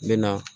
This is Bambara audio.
N bɛ na